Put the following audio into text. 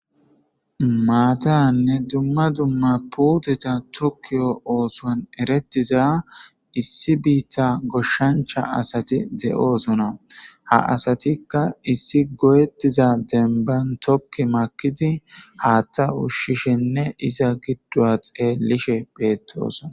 Maatanne dumma dumma puuteta tokkiyo oothuwan eretiza issi biita goshshancha asati de'osona. Ha asatika issi go'etiza demban tokki makidi haatha ushshishenne iza giduwa xeelishe beetosona.